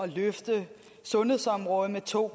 løfte sundhedsområdet med to